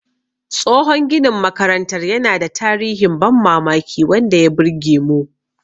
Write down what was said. Tsohon ginin makarantar yana da tarihin ban mamaki wanda ya burge mu.